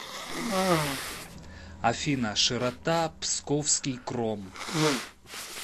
афина широта псковский кром